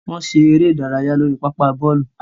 Wọn ṣe ere idaraya lori papa bọọlu.